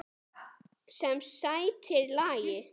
Sem sætir lagi.